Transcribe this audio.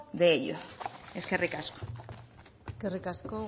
de ellos eskerrik asko eskerrik asko